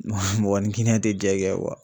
mɔgɔ ni te jɛ kɛ .